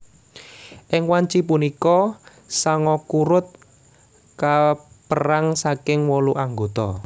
Ing wanci punika Sangoku Road kaperang saking wolu anggota